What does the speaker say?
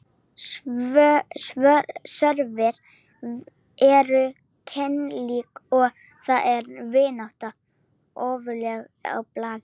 Svörin eru keimlík og þar er vináttan ofarlega á blaði.